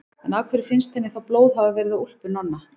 En af hverju finnst henni þá blóð hafa verið á úlpu Nonna?